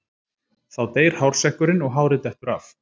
Þá deyr hársekkurinn og hárið dettur af.